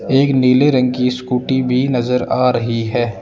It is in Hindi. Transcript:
एक नीले रंग की स्कूटी भी नजर आ रही हैं।